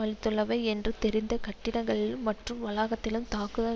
அளித்துள்ளவை என்று தெரிந்த கட்டிடங்களிலும் மற்றும் வளாகத்திலும் தாக்குதல்